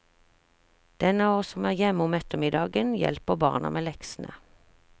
Den av oss som er hjemme om ettermiddagen, hjelper barna med leksene.